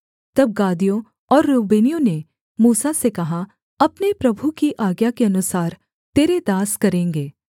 तब गादियों और रूबेनियों ने मूसा से कहा अपने प्रभु की आज्ञा के अनुसार तेरे दास करेंगे